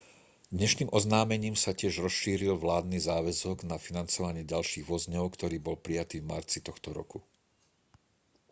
dnešným oznámením sa tiež rozšíril vládny záväzok na financovanie ďalších vozňov ktorý bol prijatý v marci tohto roku